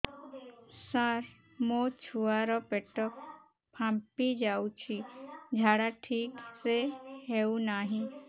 ସାର ମୋ ଛୁଆ ର ପେଟ ଫାମ୍ପି ଯାଉଛି ଝାଡା ଠିକ ସେ ହେଉନାହିଁ